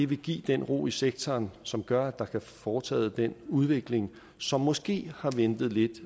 vil give den ro i sektoren som gør at der kan blive foretaget den udvikling som måske har ventet lidt